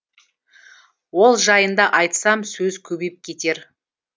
ол жайында айтсам сөз көбейіп кетер